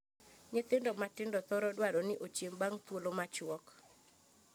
Nyithindo matindo thoro dwaro ni ochiem bang' thuolo machuok.